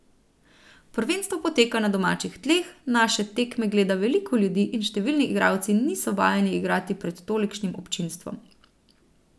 Prvenstvo poteka na domačih tleh, naše tekme gleda veliko ljudi in številni igralci niso vajeni igrati pred tolikšnim občinstvom.